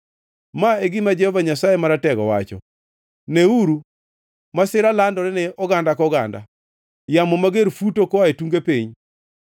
Ma e gima Jehova Nyasaye Maratego wacho: “Neuru! Masira landore ne oganda koganda, yamo mager futo koa e tunge piny.”